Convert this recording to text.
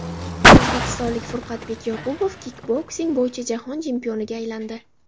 O‘zbekistonlik Furqatbek Yoqubov kikboksing bo‘yicha jahon chempioniga aylandi.